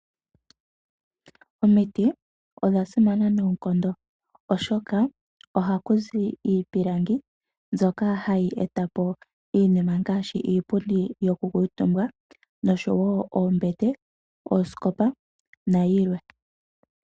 Omiti odhasimana noonkondo oshoka ohakuzi iipilangi mbyoka hayi etapo iinima ngaashi iipundi yoku kuutumba ,noshowo oombete, oosikopa nayilwe.